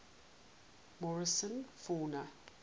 morrison fauna